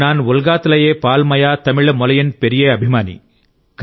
non ఉల్గాత్ లయే పాల్ మాయా తమిళ మొలియన్ పెరియే అభిమాని